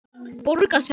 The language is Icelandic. Borga sekt?